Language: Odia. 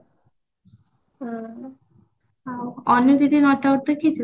ଦେଖିଚୁ